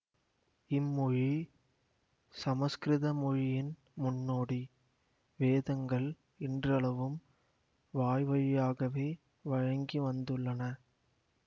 இம்மொழி சமசுக்கிருத மொழியின் முன்னோடி வேதங்கள் இன்றளவும் வாய்வழியாகவே வழங்கிவந்துள்ளன